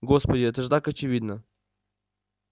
господи это же так очевидно